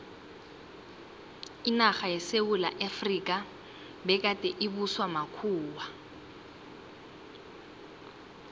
inarha yesewula efrika begade ibuswa makhuwa